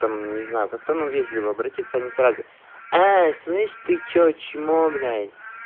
там не знаю как-то ну вежливо обратиться а не сразу а слышишь ты что чмо блять